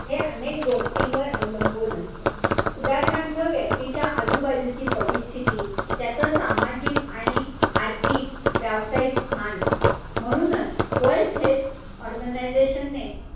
हा हे अनेक गोष्टींवर अवलंबून असतं. उदाहरणार्थ, व्यक्तीच्या आजूबाजूची परिस्थिती, त्याच सामाजिक आणि आर्थिक, व्यावसायिक स्थान. म्हणूनच वर्ल्ड हेल्थ ऑर्गनायझशन ने,